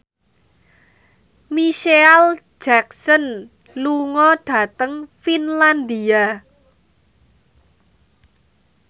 Micheal Jackson lunga dhateng Finlandia